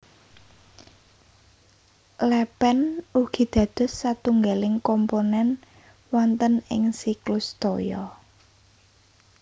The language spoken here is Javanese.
Lèpèn ugi dados satunggaling komponèn wonten ing siklus toya